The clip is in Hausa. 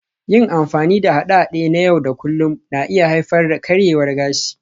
Yin amfani da haɗe-haɗe na yau da kullun na iya haifar da karyewar gashi